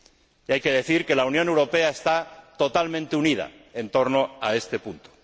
Y hay que decir que la Unión Europea está totalmente unida en torno a este punto.